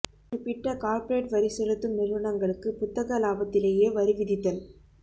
குறிப்பிட்ட கார்ப்பரேட் வரி செலுத்தும் நிறுவனங்களுக்கு புத்தக இலாபத்திலேயே வரி விதித்தல்